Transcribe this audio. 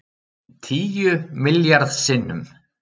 Tíu milljarð sinnum